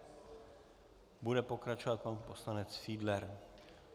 Bude pokračovat pan poslanec Fiedler.